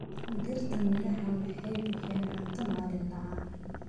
Dhirta miraha waxay bixiyaan cunto maalinle ah.